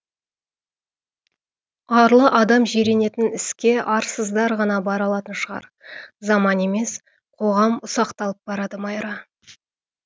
арлы адам жиренетін іске арсыздар ғана бара алатын шығар заман емес қоғам ұсақталып барады майра